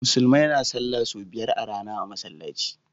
Musulmai na sallah sau biyar a rAna a masalaci